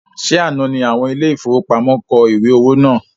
Ṣe àná ní àwọn ile-ìfowópamó kọ ìwé owó náà?